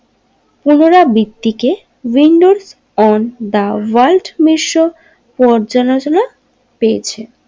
পুনৰাবৃত্তিকে Windows ও দা ভল্ট মিশ্র পর্যাচলনা পেয়েছে।